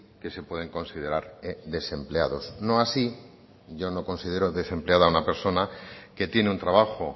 que se pueden considerar desempleados no así yo no considero desempleada a una persona que tiene un trabajo